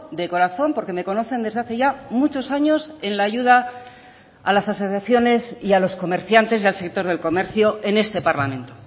de corazón porque me conocen desde hace ya muchos años en la ayuda a las asociaciones y a los comerciantes del sector del comercio en este parlamento